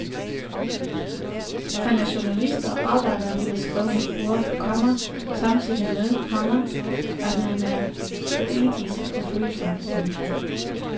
Han er journalist og arbejder med det skrevne ord, komma samtidig med, komma at han er poetisk og følsom. punktum